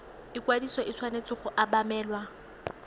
ikwadiso e tshwanetse go obamelwa